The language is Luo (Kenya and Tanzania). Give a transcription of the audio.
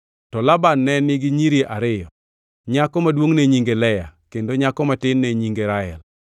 To Laban ne nigi nyiri ariyo: nyako maduongʼ ne nyinge Lea kendo nyako matin ne nyinge Rael.